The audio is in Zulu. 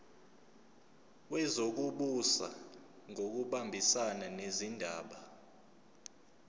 wezokubusa ngokubambisana nezindaba